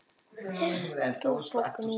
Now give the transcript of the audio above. Veröld gefur bókina út.